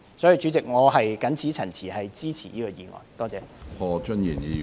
主席，我謹此陳辭，支持《條例草案》。